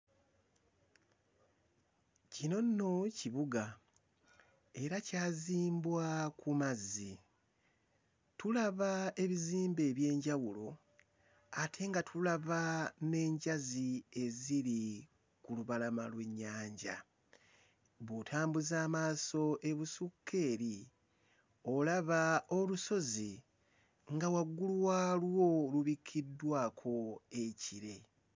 Kino nno kibuga era kyazimbwa ku mazzi, tulaba ebizimbe eby'enjawulo ate nga tulaba n'enjazi eziri ku lubalama lw'ennyanja. Bwe ntambuza amaaso ebusukka eri olaba olusozi nga waggulu waalwo lubikkiddwako ekire.